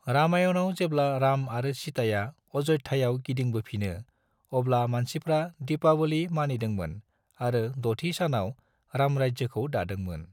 रामायणआव जेब्ला राम आरो सीताया अयोध्यायाव गिदिंबोफिनो अब्ला मानसिफ्रा दीपावली मानिदोंमोन आरो द'थि सानाव रामराज्योखौ दादोंमोन।